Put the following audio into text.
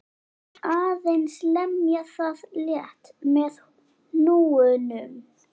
Aðeins lemja það létt með hnúunum.